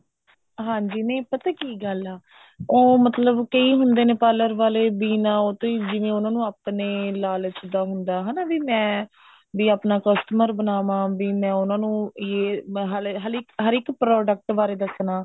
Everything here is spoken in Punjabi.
ਹਾਂਜੀ ਨਹੀਂ ਪਤਾ ਕੀ ਗੱਲ ਐ ਉਹ ਮਤਲਬ ਕਈ ਹੁੰਦੇ ਨੇ parlor ਵਾਲੇ ਬਿਨਾ ਉਹ ਤੋਂ ਹੀ ਜਿਵੇਂ ਉਹਨਾ ਨੂੰ ਆਪਣੇ ਲਾਲਚ ਦਾ ਹੁੰਦਾ ਹਨਾ ਵੀ ਮੈਂ ਆਪਣਾ customer ਬਣਾਵਾ ਵੀ ਮੈਂ ਉਹਨਾਂ ਨੂੰ ਯੇ ਮੈਂ ਹਲੇ ਹਲੇ ਹਰ ਇੱਕ product ਬਾਰੇ ਦੱਸਣਾ